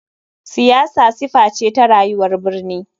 Siyasa sifa ce ta rayuwar birni.